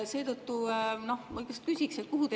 Seetõttu küsiksin, et kuhu teil nii hirmsasti kiire on.